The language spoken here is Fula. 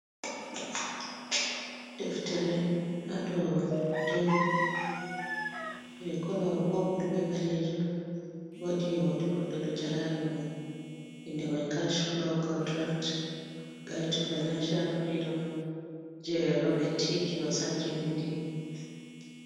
Deftere ha dow tebur je kolo popul bei ɓalejom, wodi hoto goɗɗo ɗo jala ha dow mai, inda mai cash fulow kwadiran gait to financhiyal firidom je robert t kiyosaki vindi.